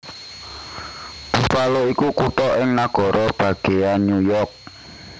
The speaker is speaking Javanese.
Buffalo iku kutha ing nagara bagéyan New York